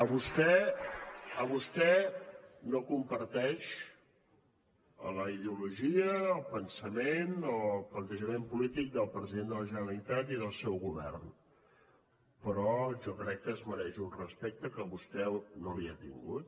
vostè no comparteix la ideologia el pensament o el plantejament polític del president de la generalitat i del seu govern però jo crec que es mereix un respecte que vostè no li ha tingut